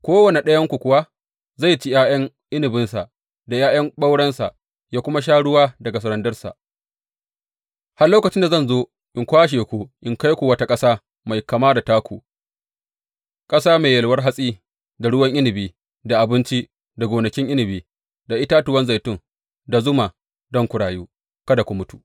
Kowane ɗayanku kuwa zai ci ’ya’yan inabinsa da ’ya’yan ɓaurensa, yă kuma sha ruwa daga randarsa, har lokacin da zan zo in kwashe ku, in kai ku wata ƙasa mai kama da taku, ƙasa mai yalwar hatsi, da ruwan inabi, da abinci, da gonakin inabi, da itatuwan zaitun, da zuma, don ku rayu, kada ku mutu!